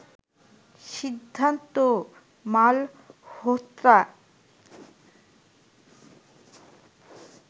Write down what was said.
Siddharth Malhotra